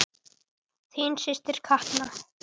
Þín systir Katla.